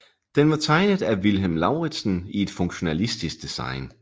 Den var tegnet af Vilhelm Lauritzen i et funktionalistisk design